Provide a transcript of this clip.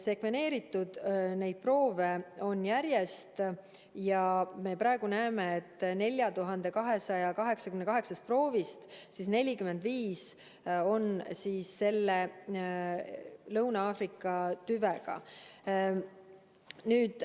Proove on järjest sekveneeritud ja me praegu näeme, et 4288 proovist 45 on Lõuna-Aafrika tüvega.